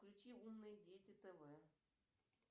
включи умные дети тв